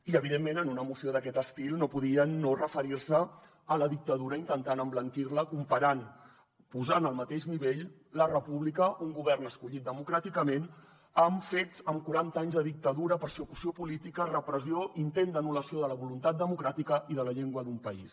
i evidentment en una moció d’aquest estil no podien no referir se a la dictadura intentant emblanquir la comparant posant al mateix nivell la república un govern escollit democràticament amb quaranta anys de dictadura persecució política repressió i intent d’anul·lació de la voluntat democràtica i de la llengua d’un país